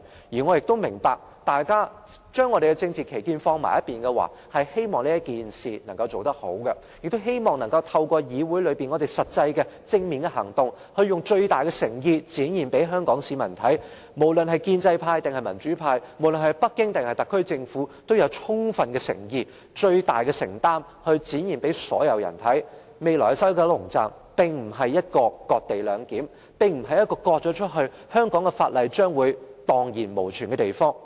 我亦明白，大家要將政治分歧放在一旁，做好這件事，亦希望能夠在議會中透過實際和正面的行動，以最大的誠意展現給香港市民看，無論是建制派或民主派，無論是北京還是特區政府，均有充分的誠意和最大的承擔，讓所有人看到，未來的西九龍站並非"割地兩檢"，並非一個被切割出去後，香港法例將會蕩然無存的地方。